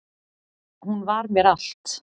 Hún var mér allt